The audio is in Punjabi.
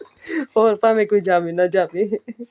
ਹੋਰ ਭਾਵੇਂ ਕੋਈ ਜਾਵੇ ਨਾ ਜਾਵੇ